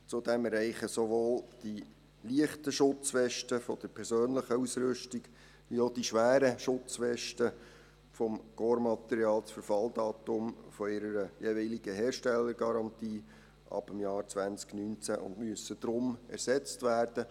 Zudem erreichen sowohl die leichten Schutzwesten der persönlichen Ausrüstung wie auch die schweren Schutzwesten des Korpsmaterials ab dem Jahr 2019 das Verfalldatum ihrer jeweiligen Herstellergarantie und müssen deshalb ersetzt werden.